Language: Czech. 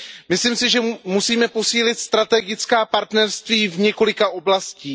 Myslím si, že musíme posílit strategická partnerství v několika oblastech.